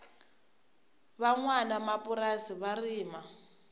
va nwanamapurasi va rima